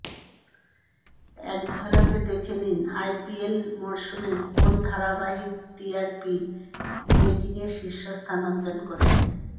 একঝলকে দেখে নিন আইপিএল মরসুমে কোন ধারাবাহিক টিআরপি রেটিংয়ে শীর্ষস্থান অর্জন করেছে